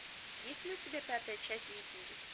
есть ли у тебя пятая часть викинги